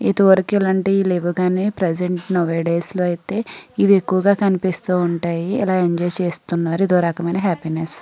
ఇదివరకు ఇలాంటివి లెవ్వు గాని ప్రెసెంట్ నౌ ఏ డేస్ లో అయితే ఇవి ఎక్కువుగా కనిపిస్తూ ఉంటాయి ఇలా ఎంజాయ్ చేస్తున్నారు ఇదో రకమైన హాపీనెస్ .